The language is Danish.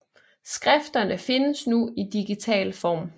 Skrifterne findes nu i digital form